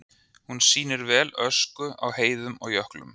Hún sýnir vel ösku á heiðum og jöklum.